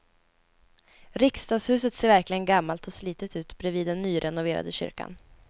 Riksdagshuset ser verkligen gammalt och slitet ut bredvid den nyrenoverade kyrkan.